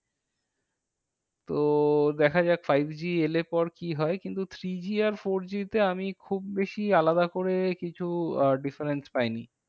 তো দেখা যাক, five G এলে পর কি হয়? কিন্তু three G আর four G তে আমি খুব বেশি আলাদা করে কিছু আহ difference পাইনি।